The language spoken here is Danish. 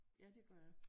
Ja det gør jeg